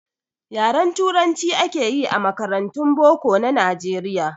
Yaren turanci akeyi a makarantun boko na nijeriya